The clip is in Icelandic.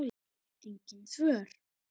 Engin svör.